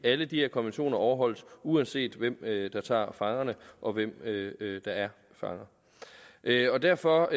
alle de her konventioner overholdes uanset hvem der tager fangerne og hvem der er fanger derfor derfor